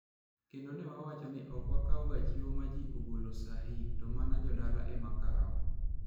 Kendo ne wawacho ni ok wakawga chiwo ma ji ogolo saa yik to mana jodala ema kawo.